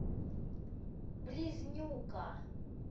близнюка